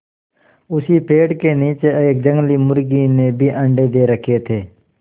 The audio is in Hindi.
उसी पेड़ के नीचे एक जंगली मुर्गी ने भी अंडे दे रखें थे